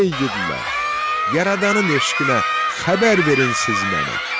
Ay igidlər, yaradanın eşqinə xəbər verin siz mənə.